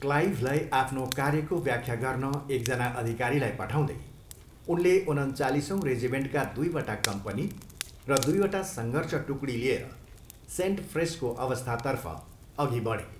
क्लाइभलाई आफ्नो कार्यको व्याख्या गर्न एक जना अधिकारीलाई पठाउँदै, उनले उनन्चालिसौँ रेजिमेन्टका दुईवटा कम्पनी र दुईवटा सङ्घर्ष टुकडी लिएर सेन्ट फ्रेसको अवस्थातर्फ अघि बढे।